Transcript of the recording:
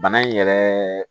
Bana in yɛrɛ